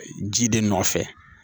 Ji de nɔfɛ